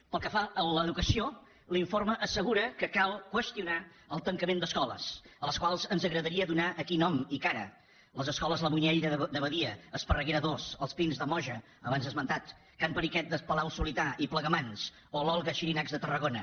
pel que fa a l’educació l’informe assegura que cal qüestionar el tancament d’escoles a les quals ens agradaria donar aquí nom i cara les escoles la muñeira de badia esparreguera ii els pins de moja abans esmentades can periquet de palau solità i plegamans o l’olga xirinacs de tarragona